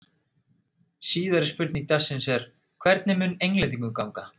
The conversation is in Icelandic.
Síðari spurning dagsins er: Hvernig mun Englendingum ganga?